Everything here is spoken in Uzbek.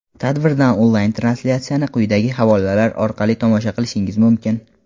Tadbirdan onlayn translyatsiyani quyidagi havolalar orqali tomosha qilishingiz mumkin:.